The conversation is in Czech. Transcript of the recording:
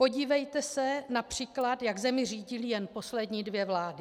Podívejte se například, jak zemi řídily jen poslední dvě vlády.